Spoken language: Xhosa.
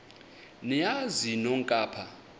niyazi nonk apha